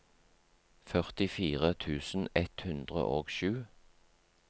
førtifire tusen ett hundre og sju